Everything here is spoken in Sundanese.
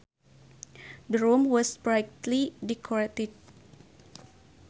The room was brightly decorated